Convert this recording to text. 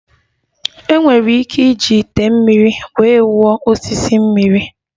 Enwere ike iji ite mmiri wee wụọ osisi mmiri.